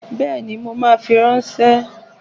Bẹ́ẹ̀ni mo ma fi ránṣẹ́